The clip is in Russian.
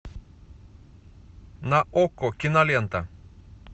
на окко кинолента